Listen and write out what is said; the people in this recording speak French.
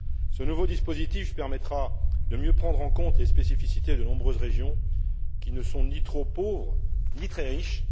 Ce nouveau dispositif permettra de mieux prendre en compte les spécificités de nombreuses régions qui ne sont ni trop pauvres ni très riches.